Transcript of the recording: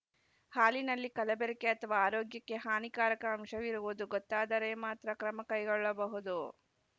ಹಾಲಿನಲ್ಲಿ ಕಲಬೆರಕೆ ಅಥವಾ ಆರೋಗ್ಯಕ್ಕೆ ಹಾನಿಕಾರಕ ಅಂಶವಿರುವುದು ಗೊತ್ತಾದರೆ ಮಾತ್ರ ಕ್ರಮ ಕೈಗೊಳ್ಳಬಹುದು